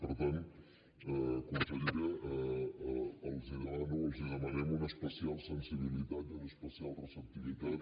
per tant consellera els demano els demanem una especial sensibilitat i una especial receptivitat